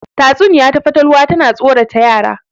Tatsuniya ta fatalwa tana tsorata yara